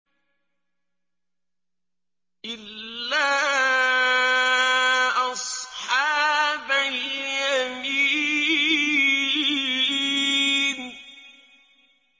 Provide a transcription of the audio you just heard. إِلَّا أَصْحَابَ الْيَمِينِ